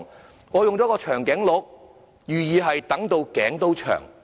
這裏我選了長頸鹿圖案，含意是"等到頸都長"。